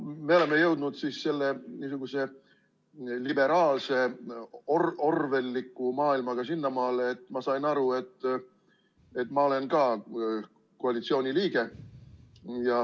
Me oleme jõudnud nüüd niisuguse liberaalse orwelliliku maailmaga sinnamaale, et ma sain aru, et ma olen ka koalitsiooni liige.